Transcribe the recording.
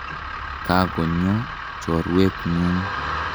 Ka konyo chorwet ng'ung'.